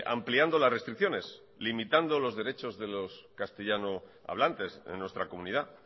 ampliando las restricciones limitando los derechos de los castellano hablantes en nuestra comunidad